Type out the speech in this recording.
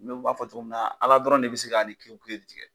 Mɛ u b'a fɔ cogo min na Ala dɔrɔn de bɛ se Ka ni tigɛ